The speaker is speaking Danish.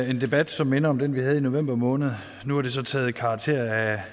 en debat som minder om den vi havde i november måned nu har det så taget karakterer af